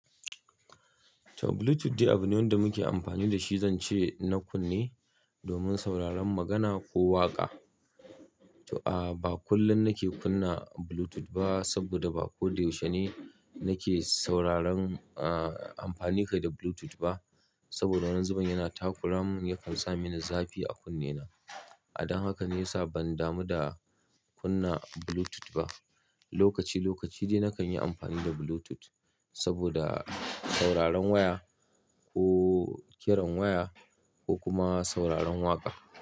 To Bluetooth dai abu ne wanda muke amfani da shi, zan ce na kunne domin sauraron magana ko waƙa. To, a ba kullum nake kunna Bluetooth ba saboda ba ko da yaushe ne nake sauraron, amfani kai da Bluetooth ba. Saboda wani zuben yana takura mun yakan sa mini zafi a kunnena. A dan haka ne ya sa ban damu da kunna Bluetooth ba. Lokaci lokaci dai nakan yi amfani da Bluetooth saboda sauraron waya ko kiran waya ko kuma sauraron waƙa.